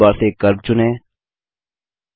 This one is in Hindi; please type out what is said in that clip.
ड्राइंग टूलबार से कर्व चुनें